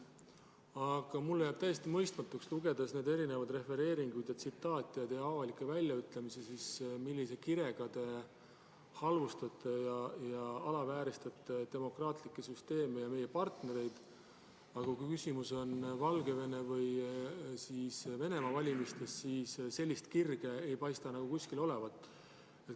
Aga mulle jääb täiesti mõistmatuks, lugedes neid refereeringuid, tsitaate ja teie avalikke väljaütlemisi, millise kirega te halvustate ja alavääristate demokraatlikke süsteeme ja meie partnereid, aga kui küsimus on Valgevene või Venemaa valimistes, siis sellist kirge ei paista nagu kuskil olevat.